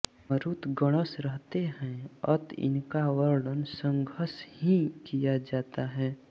मरुत् गणश रहते हैं अत इनका वर्णन संघश ही किया जाता है